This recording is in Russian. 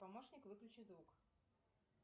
помощник выключи звук